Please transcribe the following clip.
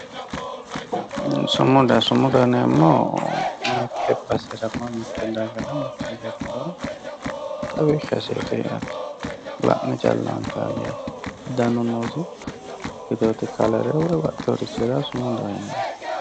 sumuda sumudaho yineemmohu mitte basera mitte dagara xawishshaseeti yaate la'ne calla anfayho yaate danu noosi ikkiteewoti kelere sumudaho yineemmo